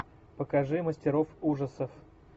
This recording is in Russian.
покажи мастеров ужасов